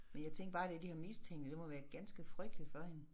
Men jeg tænkte bare det de har mistænkt det det må være ganske frygteligt for hende